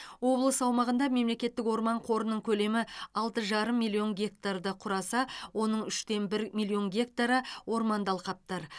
облыс аумағында мемлекеттік орман қорының көлемі алты жарым миллион гектарды құраса оның үштен бір миллион гектары орманды алқаптар